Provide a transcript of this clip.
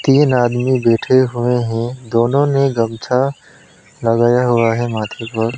तीन आदमी बैठे हुए हैं दोनों ने गमछा लगाया हुआ है माथे पर।